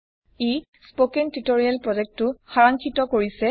ই spoken tutorial প্ৰজেক্টটো সৰাংক্ষিত কৰিছে